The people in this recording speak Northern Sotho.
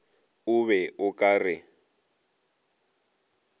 o be o ka re